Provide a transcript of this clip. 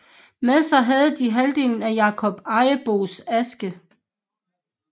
Med sig havde de halvdelen af Jakob Ejersbos aske